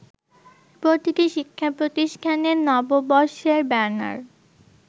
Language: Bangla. প্রতিটি শিক্ষাপ্রতিষ্ঠানের নববর্ষের ব্যানার